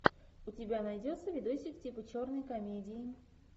у тебя найдется видосик типа черной комедии